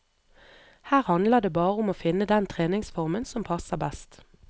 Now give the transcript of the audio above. Her handler det bare om å finne den treningsformen som passer best.